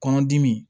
Kɔnɔdimi